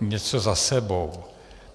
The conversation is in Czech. něco za sebou.